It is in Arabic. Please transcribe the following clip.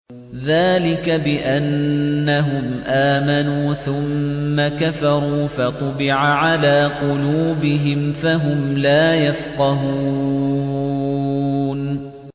ذَٰلِكَ بِأَنَّهُمْ آمَنُوا ثُمَّ كَفَرُوا فَطُبِعَ عَلَىٰ قُلُوبِهِمْ فَهُمْ لَا يَفْقَهُونَ